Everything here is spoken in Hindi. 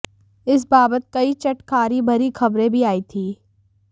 इस बाबत कई चटखारी भरी खबरें भी आयी थीं